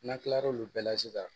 N'an kila l'olu bɛɛ la sisan